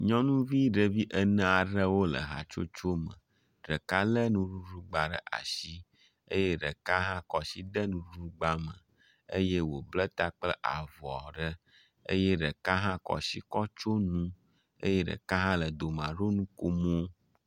Nyɔnuvi ɖevi ene aɖewo le hatsotso me, ɖeka lé nuɖugba ɖe asi, eye ɖeka hƒ kɔ asi de nuɖugba me, eye wòbla ta kple avɔ aɖe eye ɖeka hã kɔ asi kɔ tsyɔ nu eye ɖeka hã le dome ɖo nukomo.